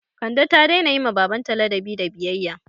Kande ta daina yi ma baban ta ladabi da biyayya